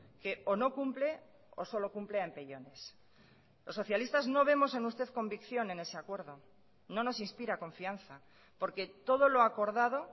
que o no cumple o solo cumple a empellones los socialistas no vemos en usted convicción en ese acuerdo no nos inspira confianza porque todo lo acordado